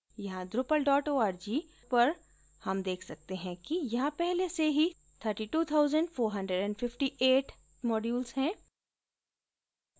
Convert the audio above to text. यहाँ drupal org पर हम देख सकते हैं कि यहाँ पहले से ही 32458 modules हैं